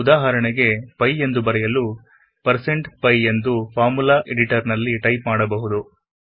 ಉದಾಹರೆಣೆಗೆಪೈ ಎಂದು ಬರೆಯಲುಪೈ ಎಂದು ಫಾರ್ಮುಲ ಎಡಿಟರ್ ನಲ್ಲಿ ಟೈಪ್ ಮಾಡಬಹುದು